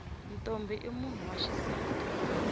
ntombhi i munhu wa xisati